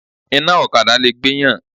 Iná ọ̀kadà lè gbéyàn.